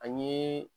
Ani